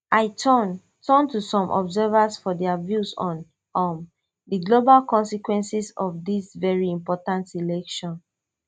i turn turn to some observers for dia view on um di global consequences of dis veri important election